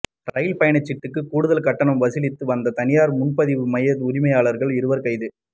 ரயில் பயணச்சீட்டுக்கு கூடுதல் கட்டணம் வசூலித்து வந்த தனியார் முன்பதிவு மைய உரிமையாளர்கள் இருவர் கைது